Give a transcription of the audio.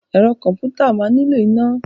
Ẹ̀rọ kọ̀m̀pútà máa nílò iná.